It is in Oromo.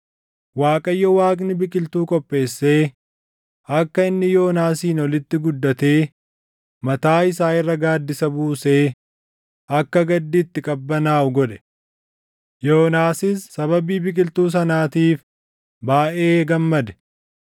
Waaqayyo Waaqni biqiltuu qopheessee akka inni Yoonaasiin olitti guddatee mataa isaa irra gaaddisa buusee akka gaddi itti qabbanaaʼu godhe; Yoonaasis sababii biqiltuu sanaatiif baayʼee gammade.